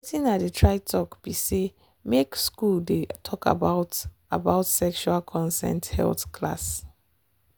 watin i dey try talk be say make school dey talk about about sexual consent health class.